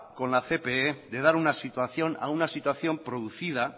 con la cpe de dar una situación a una situación producida